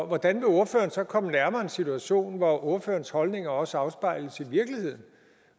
hvordan vil ordføreren så komme nærmere en situation hvor ordførerens holdninger også afspejles i virkeligheden